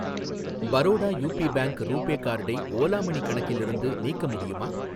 Baroda UP bank RuPay கார்டை Ola money கணக்கிலிருந்து நீக்க முடியுமா?